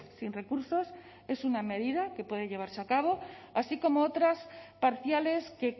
sin recursos es una medida que puede llevarse a cabo así como otras parciales que